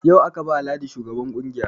Yau aka ba ladi shugaban ƙungiyar